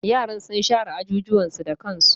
Yaran sun share ajujuwan su da kansu.